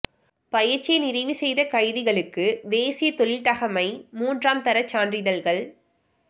பயிற்சியை நிறைவுசெய்த கைதிகளுக்கு தேசிய தொழில் தகமை மூன்றாம் தர சான்றிதழ்கள்